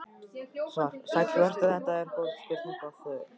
Svar: Sæll vertu, þetta eru góð spurning og þörf.